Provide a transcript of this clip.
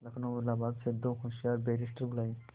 लखनऊ और इलाहाबाद से दो होशियार बैरिस्टिर बुलाये